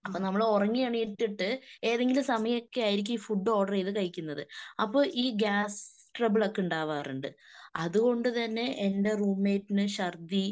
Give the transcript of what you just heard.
അപ്പൊ നമ്മള് ഉറങ്ങി എണീറ്റിട്ട് ഏതെങ്കിലും സമയമൊക്കെ ആയിരിക്കും ഈ ഫുഡ് ഓർഡർ ചെയ്‌ത്‌ കഴിക്കുന്നത്. അപ്പൊ ഈ ഗ്യാസ് ട്രബിൾ ഒക്കെ ഉണ്ടാവാറുണ്ട്. അതുകൊണ്ടുതന്നെ എന്റെ റൂംമേറ്റിന് ഛർദി